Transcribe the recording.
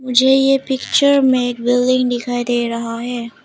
मुझे ये पिक्चर में एक बिल्डिंग दिखाई दे रहा है।